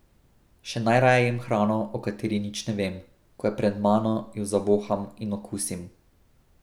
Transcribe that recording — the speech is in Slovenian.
Še najraje jem hrano, o kateri nič ne vem, ko je pred mano, jo zavoham in okusim.